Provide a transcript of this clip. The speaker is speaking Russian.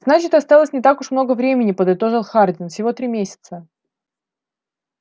значит осталось не так уж много времени подытожил хардин всего три месяца